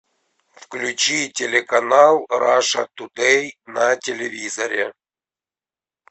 включи телеканал раша тудэй на телевизоре